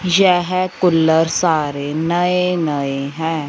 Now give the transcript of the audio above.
येह कूलर सारे नए नए हैं।